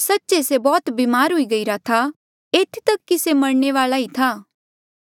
सच्चे से बौह्त ब्मार हुई गईरा था एथी तक कि से मरणे वाल्आ ई था